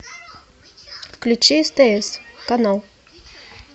включи стс канал